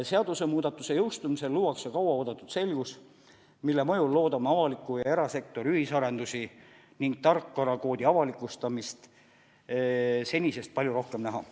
Seadusemuudatuse jõustumisel luuakse kauaoodatud selgus, mille mõjul loodame avaliku ja erasektori ühisarendusi ning tarkvarakoodi avalikustamist senisest palju rohkem näha.